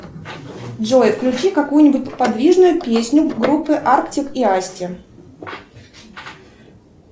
джой включи какую нибудь подвижную песню группы артик и асти